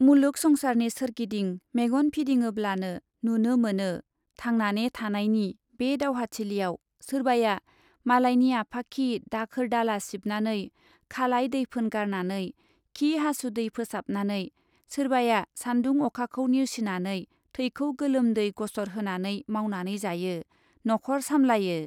मुलुक संसारनि सोरगिदिं मेगन फिदिङोब्लानो नुनो मोनो, थांनाने थानायनि बे दावहाथिलियाव, सोरबाया मालायनि आफाखि दाखोर दाला सिबनानै , खालाइ दैफोन गारनानै , खि हासुदै फोसाबनानै , सोरबाया सान्दुं अखाखौ नेवसिनानै थैखौ गोलोम दै गसर होनानै मावनानै जायो , न' खर सामलायो ।